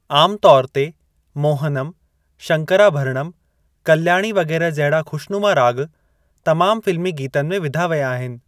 आम तौर ते, मोहनम, शंकरभरणम, कल्‍याणी वगै़रह जहिड़ा खु़शनुमा राॻ तमामु फ़िल्‍मी गीतनि में विधा वया आहिनि।